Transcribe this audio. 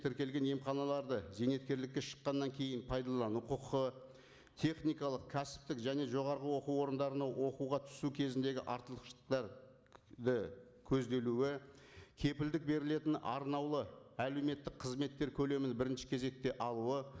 тіркелген емханаларды зейнеткерлікке шыққаннан кейін пайдалану құқығы техникалық кәсіптік және жоғарғы оқу орындарына оқуға түсу кезіндегі көзделуі кепілдік берілетін арнаулы әлеуметтік қызметтер көлемін бірінші кезекте алуы